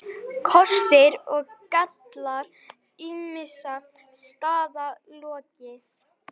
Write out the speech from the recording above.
KOSTIR OG GALLAR ÝMISSA STAÐA LOKIÐ